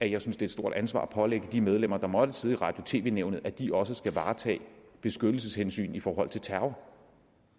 jeg synes det et stort ansvar at pålægge de medlemmer der måtte sidde i radio og tv nævnet at de også skal varetage beskyttelseshensyn i forhold til terror